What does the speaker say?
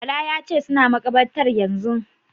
Bala ya ce "suna makabartar yanzun".